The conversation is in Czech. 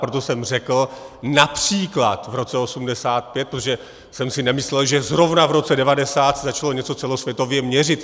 Proto jsem řekl například v roce 1985, protože jsem si nemyslel, že zrovna v roce 1990 se začalo něco celosvětově měřit.